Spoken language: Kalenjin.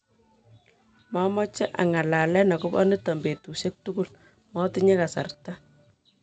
Momoche anga'lalen okobo niton betushek tugul, motinye kasarta.